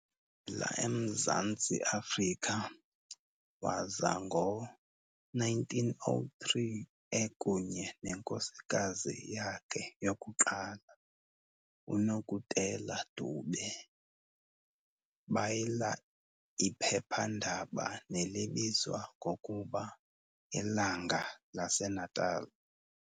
la emZantsi Afrika, waza ngo-1903 ekunye nenkosikazi yakhe yokuqala, uNokutela Dube, bayila iphepha-ndaba, nelibizwa ngokuba "Ilanga lase Natal".